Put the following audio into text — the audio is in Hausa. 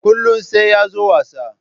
Kullun sai ya zo wasa.